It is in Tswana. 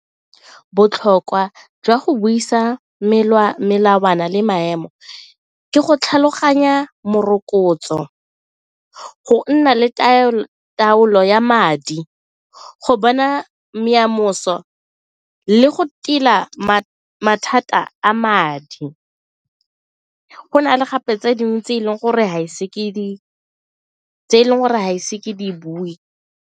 Botlhokwa jwa go buisa melawana le maemo ke go tlhaloganya morokotso, go nna le taolo ya madi, go bona le go tila mathata a madi. Go na le gape tse dingwe tse e leng gore ga ise ke di bue.